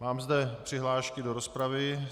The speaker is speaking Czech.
Mám zde přihlášku do rozpravy.